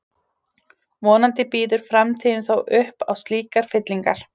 Vonandi býður framtíðin þó upp á slíkar fyllingar.